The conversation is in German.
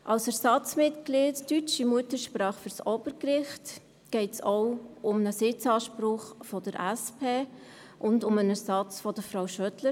Als Ersatzmitglied deutscher Muttersprache für das Obergericht geht es auch um einen Sitzanspruch der SP und um einen Ersatz von Frau Schödler.